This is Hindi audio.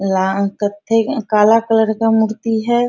ला कते काला कलर के मूर्ति है।